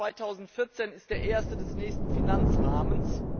Der Haushalt 2014 ist der erste des nächsten Finanzrahmens.